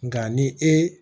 Nka ni ee